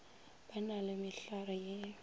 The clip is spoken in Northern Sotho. ba na le mehlare ye